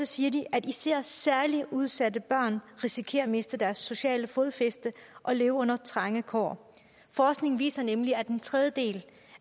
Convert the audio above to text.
siger de at især særlig udsatte børn risikerer at miste deres sociale fodfæste og leve under trange kår forskningen viser nemlig at en tredjedel